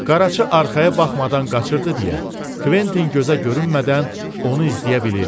Qaraçı arxaya baxmadan qaçırdı deyə, Kventin gözə görünmədən onu izləyə bilirdi.